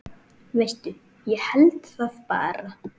Veistu, ég held það bara.